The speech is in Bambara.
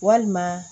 Walima